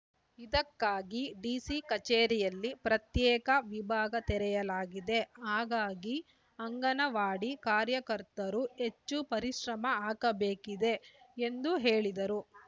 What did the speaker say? ಇದಕ್ಕಾಗಿ ಡಿಸಿ ಕಚೇರಿಯಲ್ಲಿ ಪ್ರತ್ಯೇಕ ವಿಭಾಗ ತೆರೆಯಲಾಗಿದೆ ಹಾಗಾಗಿ ಅಂಗನವಾಡಿ ಕಾರ್ಯಕರ್ತರು ಹೆಚ್ಚು ಪರಿಶ್ರಮ ಹಾಕಬೇಕಿದೆ ಎಂದು ಹೇಳಿದರು